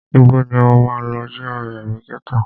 Ibo ni o máa lọ, GRA àbí ghetto?